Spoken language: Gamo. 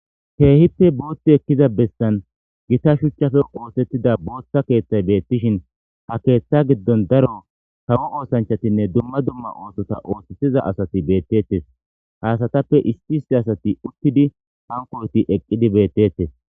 keehipe boothti ekkiza bessan gita shuchchafe oosettida boothta keethtay beettishin ha keeththa giddon daro tawo oosanchatinne dumma dumma oohtota oosetiza asati beettettes haasatappe isti isti asati uttidi hankoyoti eqqidi beettettes